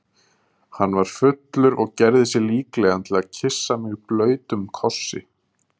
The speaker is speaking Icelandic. Hann var fullur og gerði sig líklegan til að kyssa mig blautum kossi.